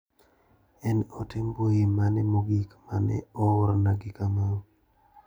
En ote mbui mane mogik mane oorna gi Kamau.